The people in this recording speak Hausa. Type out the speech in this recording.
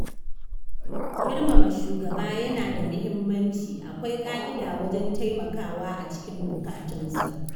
Girmama shugaba yana da muhimmanci, akwai ƙa'ida wajen taimakawa a cikin bukatunsa.